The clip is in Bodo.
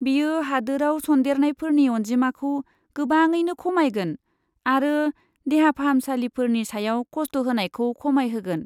बेयो हादोराव सन्देरनायफोरनि अनजिमाखौ गोबाङैनो खमायगोन आरो देहा फाहामसालिफोरनि सायाव खस्ट होनायखौ खमायहोगोन।